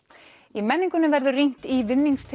í menningunni verður rýnt í